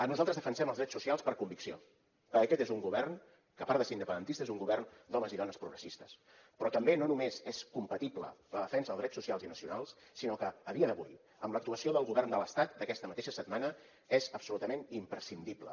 nosaltres defensem els drets socials per convicció perquè aquest és un govern que a part de ser independentista és un govern d’homes i dones progressistes però també no només és compatible la defensa dels drets socials i nacionals sinó que a dia d’avui amb l’actuació del govern de l’estat d’aquesta mateixa setmana és absolutament imprescindible